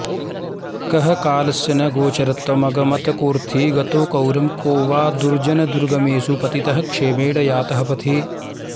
कः कालस्य न गोचरत्वमगमत् कोऽर्थी गतो गौरवं को वा दुर्जनदुर्गमेषु पतितः क्षेमेण यातः पथि